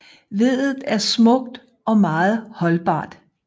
Veddet er smukt og meget holdbart